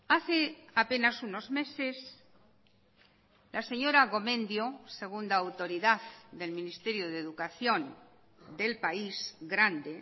hace apenas unos meses la señora gomendio segunda autoridad del ministerio de educación del país grande